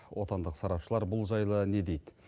отандық сарапшылар бұл жайлы не дейді